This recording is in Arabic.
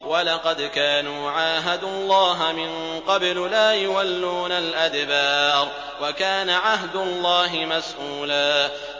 وَلَقَدْ كَانُوا عَاهَدُوا اللَّهَ مِن قَبْلُ لَا يُوَلُّونَ الْأَدْبَارَ ۚ وَكَانَ عَهْدُ اللَّهِ مَسْئُولًا